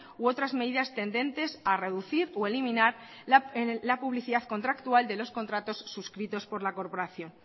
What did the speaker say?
u otras medidas tendentes a reducir o eliminar la publicidad contractual de los contratos suscritos por la corporación